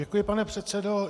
Děkuji, pane předsedo.